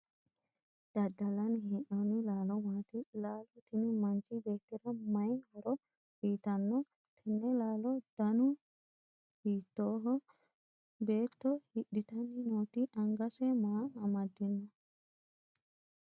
daddallanni hee'noonni laalo maati? laalo tini manchi beettira mayi horo uyiitanno tenne laalohu danu hiittooho? beetto hidhitanni nooti angase maa amaddino?